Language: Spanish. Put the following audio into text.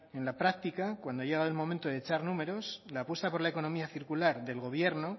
en la práctica cuando ha llegado el momento de echar números la apuesta por la economía circular del gobierno